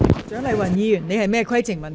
蔣麗芸議員，你有甚麼規程問題？